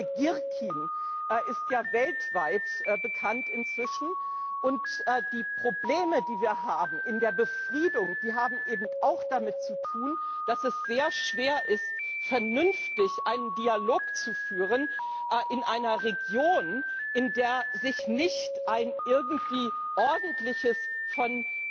Der Name Girkin ist ja inzwischen weltweit bekannt, und die Probleme, die wir haben in der Befriedung, die haben eben auch damit zu tun, dass es sehr schwer ist, vernünftig einen Dialog zu führen in einer Region, in der sich nicht ein irgendwie ordentliches, von